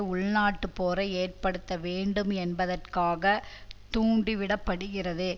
உள்நாட்டுப் போரை ஏற்படுத்த வேண்டும் என்பதற்காக தூண்டி விட படுகிறது